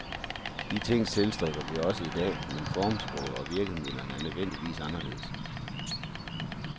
De ting tilstræber vi også i dag, men formsproget og virkemidlerne er nødvendigvis anderledes.